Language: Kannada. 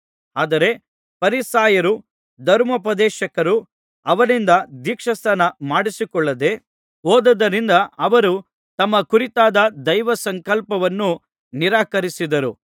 ಆದರೆ ಫರಿಸಾಯರೂ ಧರ್ಮೋಪದೇಶಕರೂ ಅವನಿಂದ ದೀಕ್ಷಾಸ್ನಾನ ಮಾಡಿಸಿಕೊಳ್ಳದೆ ಹೋದದ್ದರಿಂದ ಅವರು ತಮ್ಮ ಕುರಿತಾದ ದೈವಸಂಕಲ್ಪವನ್ನು ನಿರಾಕರಿಸಿದರು